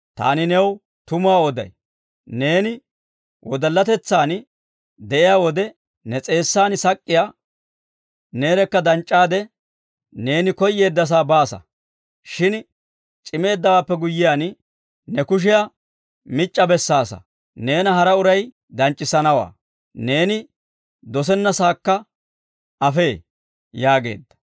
Taani new tumuwaa oday; neeni wodallatetsaan de'iyaa wode, ne s'eessan sak'k'iyaa neerekka danc'c'aade, neeni koyyeeddasaa baasa. Shin c'imeeddawaappe guyyiyaan, ne kushiyaa mic'c'a bessaasa. Neena hara uray danc'c'issanawaa; neeni dosennasaakka afee» yaageedda.